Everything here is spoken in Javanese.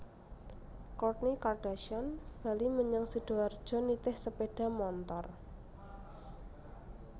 Kourtney Kardashian bali menyang Sidoarjo nitih sepeda montor